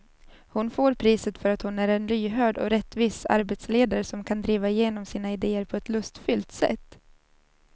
Hon får priset för att hon är en lyhörd och rättvis arbetsledare som kan driva igenom sina idéer på ett lustfyllt sätt.